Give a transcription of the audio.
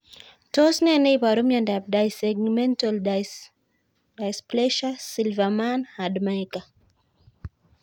Tos nee neioaru miondop Dyssegmental dysplasia Silverman Handmaker